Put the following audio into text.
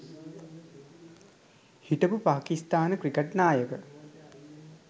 හිටපු පාකිස්ථාන ක්‍රිකට් නායක